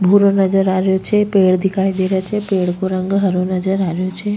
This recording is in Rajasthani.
भूरो नजर आ रियो छे पेड़ दिखाई दे रहा छे पेड़ को रंग हरो नजर आ रहियो छे।